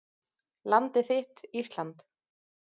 Landið þitt Ísland